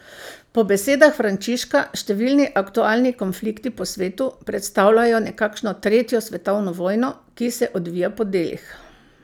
Po besedah Frančiška številni aktualni konflikti po svetu predstavljajo nekakšno tretjo svetovno vojno, ki se odvija po delih.